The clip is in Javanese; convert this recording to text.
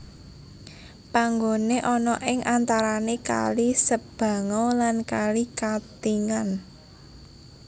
Panggone ana ing antarane kali Sebangau lan kali Katingan